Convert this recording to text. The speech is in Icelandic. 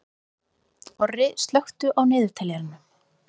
Korri, slökktu á niðurteljaranum.